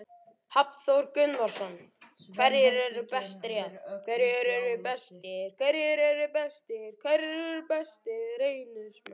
Hafþór Gunnarsson: Hverjir eru bestir í ár?